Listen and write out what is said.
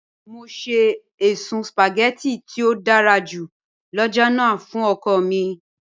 Mọ sẹ èṣùn spaghetti tí ó dàrá jù lọ́jọ́ lána fún ọ̀kọ̀ mi